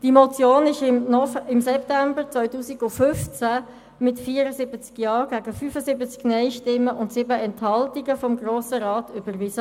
Die Motion wurde im September 2015 mit 74 Ja- gegen 65 Nein-Stimmen und 7 Enthaltungen vom Grossen Rat überwiesen.